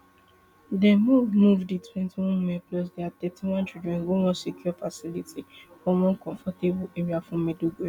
dem move move di twenty women plus dia thirty-one children go one secure facility for one comfortable area for maiduguri